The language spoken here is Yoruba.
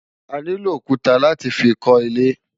Aniló ókútá láti fi kò ilé